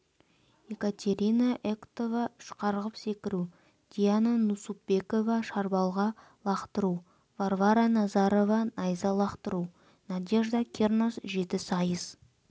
екатерина эктова үш қарғып секіру диана нусупбекова шарбалға лақтыру варвара назарова найза лақтыру надежда кирнос жетісайыс